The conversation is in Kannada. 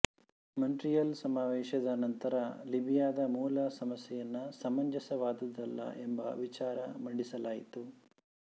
ಮಾಂಟ್ರಿಯಲ್ ಸಮಾವೇಶದ ನಂತರ ಲಿಬಿಯಾದ ಮೂಲ ಸಮಸ್ಯೆಯನ್ನು ಸಮಂಜಸವಾದುದಲ್ಲ ಎಂಬ ವಿಚಾರ ಮಂಡಿಸಲಾಯಿತು